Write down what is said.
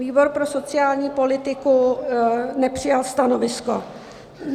Výbor pro sociální politiku nepřijal stanovisko.